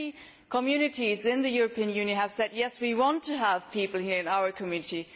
Many communities in the European Union have said yes, we want to have people here in our community.'